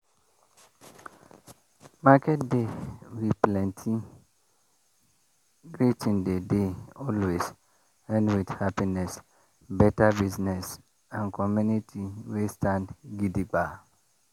market day wey plenty greeting dey dey always end with happiness better business and community wey stand gidigba.